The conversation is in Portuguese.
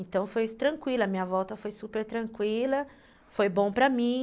Então, foi tranquilo, a minha volta foi super tranquila, foi bom para mim.